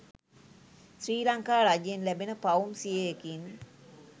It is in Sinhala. ශ්‍රී ලංකා රජයෙන් ලැබෙන පවුම් සියයකින්